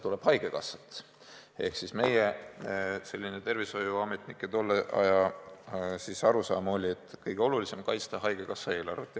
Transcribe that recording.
Ehk siis meie tervishoiuametnike tolle aja arusaam oli, et kõige olulisem on kaitsta haigekassa eelarvet.